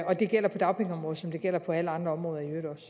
og det gælder på dagpengeområdet som det gælder på alle andre områder